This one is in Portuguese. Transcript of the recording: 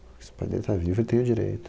Se o pai dele tá vivo, ele tem o direito.